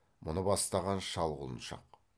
мұны бастаған шал құлыншақ